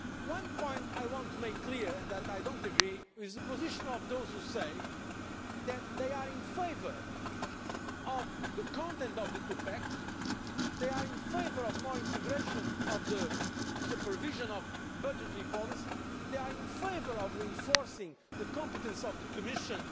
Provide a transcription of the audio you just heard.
One point I want to make clear, and that I do not agree with, is the position of those who say that they are in favour of the content of the Two pack, they are in favour of more integration in supervision of budgetary policy, they are in favour of reinforcing the competence of the Commission